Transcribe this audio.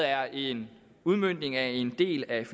er en udmøntning af en del af